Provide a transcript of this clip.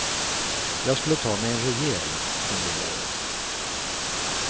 Jag skulle ta mig en rejäl funderare.